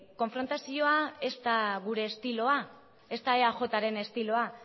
konfrontazioa ez da gure estilo ez da eajren estiloa